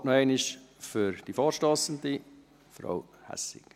Das Wort hat noch einmal die Vorstossende, Frau Hässig.